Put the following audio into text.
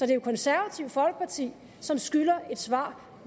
det konservative folkeparti som skylder et svar